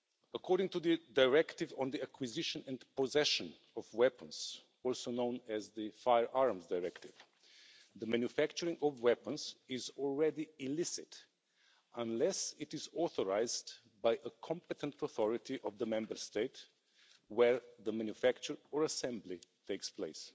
According to the Directive on the acquisition and possession of weapons, also known as the Firearms Directive, the manufacturing of weapons is already illicit unless it is authorised by a competent authority of the Member State where the manufacture or assembly takes place.